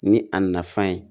Ni a nafan ye